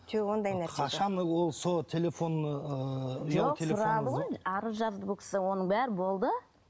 жоқ ондай нәрсе қашан ол сол телефон ыыы ұялы телефоны арыз жазды бұл кісі оның бәрі болды